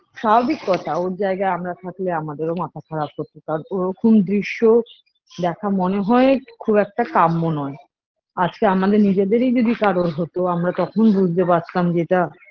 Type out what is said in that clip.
স্বাভাবিক কথা ওর জায়গায় আমরা থাকলে আমাদের ও মাথা খারাপ হতো কারণ ওরকম দৃশ্য দেখা মনে হয়ে খুব একটা কাম্য নয় আজকে আমাদের নিজেদেরই যদি কারোর হতো আমরা তখন বুঝতে পারতাম যে এটা